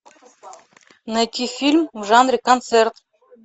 найти фильм в жанре концерт